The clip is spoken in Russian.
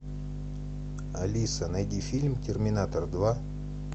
алиса найди фильм терминатор два